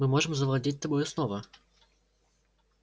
мы можем завладеть тобою снова